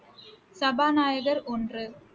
சபாநாயகர் ஒன்று